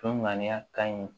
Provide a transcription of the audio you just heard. Toŋaniya ka ɲi